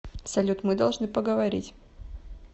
салют мы должны поговорить